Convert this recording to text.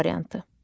A variantı.